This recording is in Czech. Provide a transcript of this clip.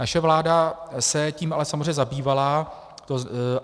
Naše vláda se tím ale samozřejmě zabývala.